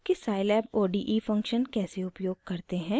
* scilab ode function कैसे उपयोग करते हैं